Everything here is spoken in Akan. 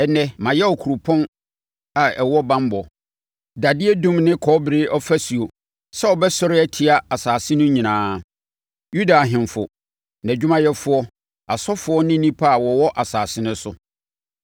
Ɛnnɛ, mayɛ wo kuropɔn a ɛwɔ banbɔ, dadeɛ dum ne kɔbere ɔfasuo sɛ wobɛsɔre atia asase no nyinaa, Yuda ahemfo, nʼadwumayɛfoɔ, asɔfoɔ ne nnipa a wɔwɔ asase no so.